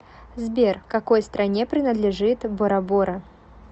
сбер какой стране принадлежит борабора